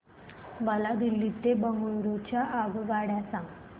मला दिल्ली ते बंगळूरू च्या आगगाडया सांगा